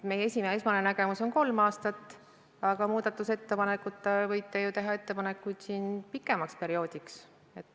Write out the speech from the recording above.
Meie esmane nägemus on kolm aastat, aga te võite teha muudatusettepanekuid pikema perioodi kehtestamiseks.